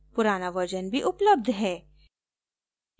पुराना version भी उपलब्ध है